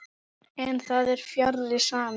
En það er fjarri sanni.